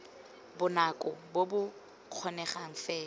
bonako bo bo kgonegang fela